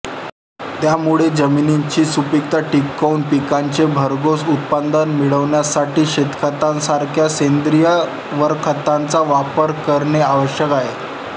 त्यामुळे जमिनीची सुपिकता टिकवून पिकांचे भरघोस उत्पादन मिळविण्यासाठी शेणखतासारख्या सेंद्रिय वरखताचा वापर करणे आवश्यक आहे